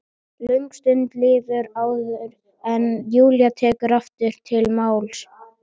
Löng stund líður áður en Júlía tekur aftur til máls.